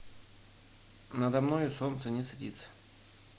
надо мною солнце не садится